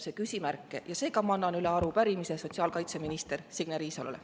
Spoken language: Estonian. Seega ma annan üle arupärimise sotsiaalkaitseminister Signe Riisalole.